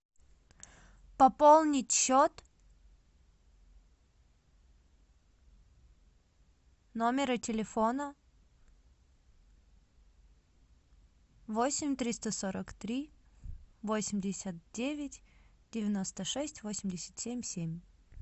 пополнить счет номера телефона восемь триста сорок три восемьдесят девять девяносто шесть восемьдесят семь семь